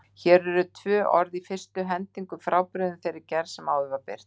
Hér eru tvö orð í fyrstu hendingu frábrugðin þeirri gerð sem áður var birt.